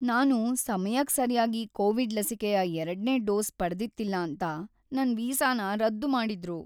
ನಾನು ಸಮಯಕ್ ಸರ್ಯಾಗಿ ಕೋವಿಡ್ ಲಸಿಕೆಯ ಎರಡ್ನೇ ಡೋಸ್ ಪಡ್ದಿತ್ತಿಲ್ಲ ಅಂತ ನನ್ ವೀಸಾನ ರದ್ದು ಮಾಡಿದ್ರು.